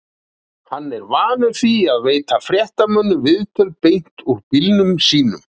Hann er vanur því að veita fréttamönnum viðtöl beint úr bílnum sínum.